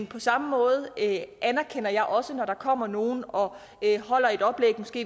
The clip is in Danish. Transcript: på samme måde anerkender jeg også når der kommer nogle og holder et oplæg